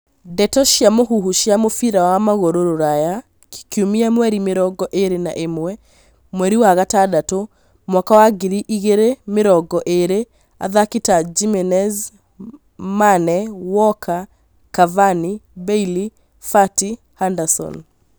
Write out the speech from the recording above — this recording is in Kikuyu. Ndeto cia mũhuhu cia mũbira wa magũrũ Rũraya kiumia mweri mĩrongo ĩrĩ na ĩmwe mweri wa gatandatũ mwaka wa ngiri igĩrĩ mĩrongo ĩrĩ athaki ta Jimenez, Mane, Walker Cavani, Bailey, Fati, Henderson